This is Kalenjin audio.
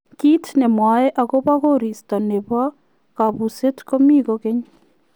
Kiit nemwae akopoo koristoo nepoo kabuseet komii kokeeny